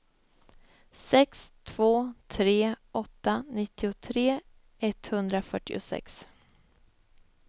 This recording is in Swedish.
sex två tre åtta nittiotre etthundrafyrtiosex